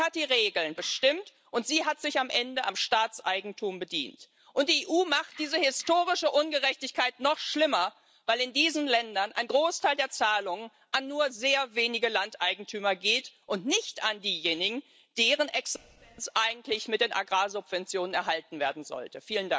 Sie hat die Regeln bestimmt, und sie hat sich am Ende am Staatseigentum bedient. Und die EU macht diese historische Ungerechtigkeit noch schlimmer, weil in diesen Ländern ein Großteil der Zahlungen an nur sehr wenige Landeigentümer geht und nicht an diejenigen, deren Existenz eigentlich mit den Agrarsubventionen erhalten werden sollte.